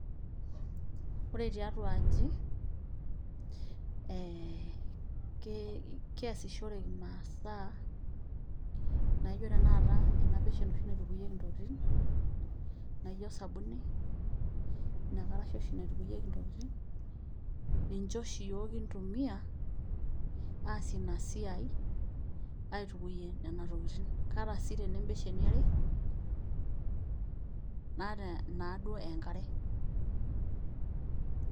Ore taitu aji, ee keasishore masaa naijo tanakata enabeshen naitukunyeki ntokitin naijo osabuni ,inakarasha oshi naitukunyeki ntokitin ninche oshi yiok kintumia aasie inasiai aitukunye nona tokitin ata naa mbesheni are naata nataa naduo enkare.